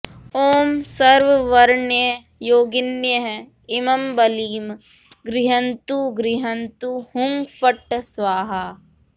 ॐ सर्ववर्णयोगिन्यः इमं बलिं गृह्नन्तु गृह्नन्तु हुं फट् स्वाहा